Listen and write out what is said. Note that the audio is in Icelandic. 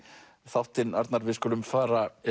þáttinn Arnar við skulum fara